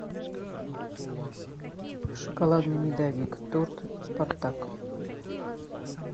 шоколадный медовик торт спартак